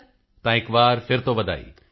ਮੋਦੀ ਜੀ ਤਾਂ ਇਕ ਵਾਰ ਫਿਰ ਤੋਂ ਵਧਾਈ